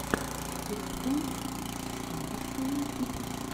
кэптэн спарклз